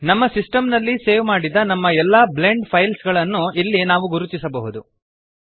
ನಮ್ಮ ಸಿಸ್ಟೆಮ್ ನಲ್ಲಿ ಸೇವ್ ಮಾಡಿದ ನಮ್ಮ ಎಲ್ಲ ಬ್ಲೆಂಡ್ ಫೈಲ್ಸ್ ಗಳನ್ನು ಇಲ್ಲಿ ನಾವು ಗುರುತಿಸಬಹುದು